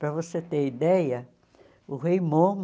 Para você ter ideia, o rei Momo...